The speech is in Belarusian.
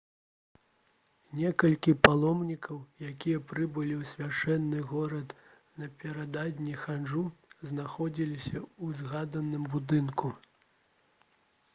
некалькі паломнікаў якія прыбылі ў свяшчэнны горад напярэдадні хаджу знаходзіліся ў згаданым будынку